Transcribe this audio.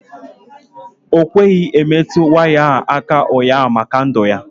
Ọ kweghị metụ waya ahụ aka ụnyaahụ maka ndụ ya.